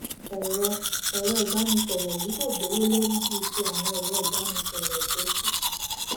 èrọ èrọ ìbánisòrò yìí kò gbówó lórí bíi ti àwọn èrọ ìbánisòròtó kù